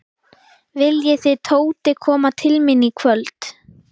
Viljið þið Tóti koma til mín í kvöld?